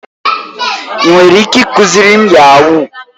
Ị nwere ike ịkụziri m yahuu?